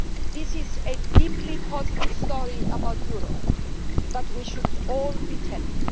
This is a deeply positive story about Europe that we should all be telling.